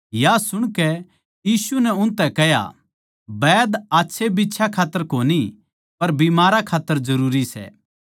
या सुणकै यीशु नै उनतै कह्या वैद आच्छे बिच्छयां खात्तर कोनी पर बीमारां खात्तर जरूरी सै